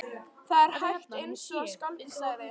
Þetta er hægt, einsog skáldið sagði.